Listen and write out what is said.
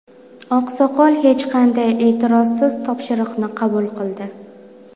Oqsoqol hech qanday e’tirozsiz topshiriqni qabul qildi.